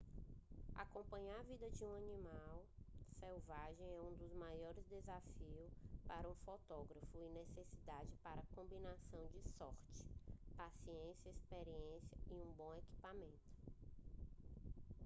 acompanhar a vida de animais selvagens é um dos maiores desafios para um fotógrafo e necessita da combinação de sorte paciência experiência e bom equipamento